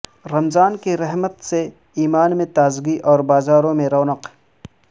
رمضان کی رحمت سے ایمان میں تازگی اور بازاروں میں رونق